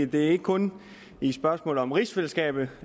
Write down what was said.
det er ikke kun i spørgsmålet om rigsfællesskabet